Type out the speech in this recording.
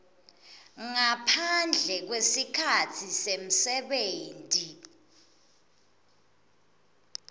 ngaphandle kwesikhatsi semsebenti